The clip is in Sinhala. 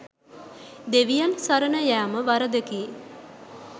දෙවියන් සරණයෑම වරදකි.